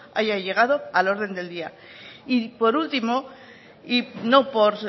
haya llegado al orden del día y por último y no por